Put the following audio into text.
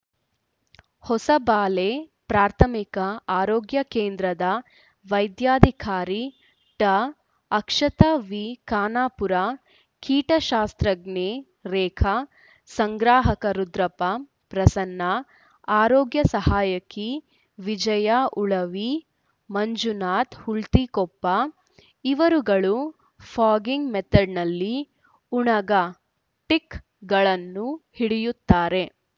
ಹೊಸಬಾಳೆ ಪ್ರಾಥಮಿಕ ಆರೋಗ್ಯ ಕೇಂದ್ರದ ವೈದ್ಯಾಧಿಕಾರಿ ಡಾಅಕ್ಷತಾ ವಿ ಖಾನಪುರ ಕೀಟ ಶಾಸ್ತ್ರಜ್ಞೆ ರೇಖಾ ಸಂಗ್ರಾಹಕ ರುದ್ರಪ್ಪ ಪ್ರಸನ್ನ ಆರೋಗ್ಯ ಸಹಾಯಕಿ ವಿಜಯ ಉಳವಿ ಮಂಜುನಾಥ ಹುಲ್ತಿಕೊಪ್ಪ ಇವರುಗಳು ಫಾಗಿಂಗ್‌ ಮೆಥೆಡ್‌ನಲ್ಲಿ ಉಣಗ ಟಿಕ್‌ ಗಳನ್ನು ಹಿಡಿಯುತ್ತಾರೆ